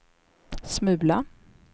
smula